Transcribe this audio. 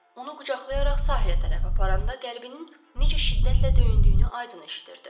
Onu qucaqlayaraq sahilə tərəf aparanda qəlbinin necə şiddətlə döyündüyünü aydın eşidirdi.